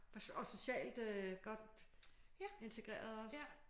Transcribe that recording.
Og og socialt øh godt integreret også?